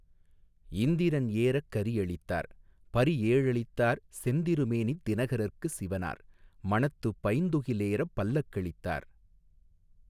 இந்திரன் ஏறக் கரி அளித்தார், பரிஏழளித்தார் செந்திரு மேனித் தினகரற்கு சிவனார், மணத்துப் பைந்துகிலேறப் பல்லக்களித்தார்.